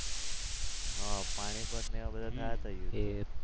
હા ખબર છે ને પાણીપતને બધા થયા હતા યુદ્ધ.